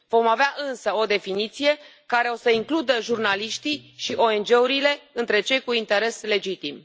Vom avea însă o definiție care o să includă jurnaliștii și ONG urile între cei cu interes legitim.